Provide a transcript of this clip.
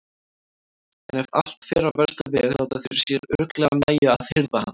En ef allt fer á versta veg láta þeir sér örugglega nægja að hirða hann.